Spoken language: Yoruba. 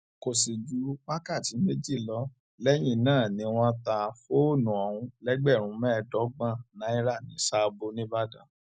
kò sì ju wákàtí méjì lọ lẹyìn náà ni wọn ta fóònù ọhún lẹgbẹrún mẹẹẹdọgbọn náírà ní sààbọ nìbàdàn